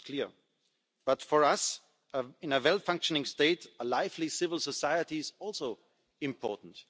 That's clear but, for us, in a properly functioning state a lively civil society is also important.